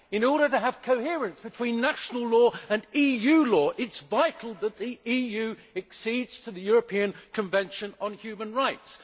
In order to have coherence between national law and EU law, it is vital that the EU accedes to the European Convention on Human Rights.